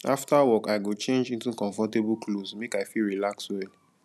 after work i go change into comfortable clothes make i fit relax well